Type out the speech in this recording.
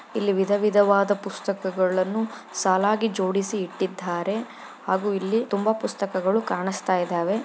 ಇಲ್ಲಿ ವಿಧ-ವಿಧವಾದ ಪುಸ್ತಕಗಳನ್ನು ಸಾಲಾಗಿ ಜೋಡಿಸಿ ಇಟ್ಟಿದ್ದಾರೆ ಹಾಗು ಇಲ್ಲಿ ತುಂಬಾ ಪುಸ್ತಕಗಳು ಕಾಣಸ್ತಾಯ್ದವೆ.